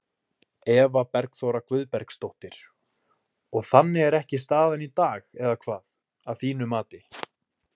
Eva Bergþóra Guðbergsdóttir: Og þannig er ekki staðan í dag eða hvað, að þínu mati?